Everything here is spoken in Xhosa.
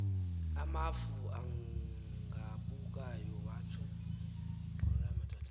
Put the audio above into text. amafu agabukayo watsho